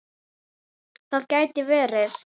Það gæti verið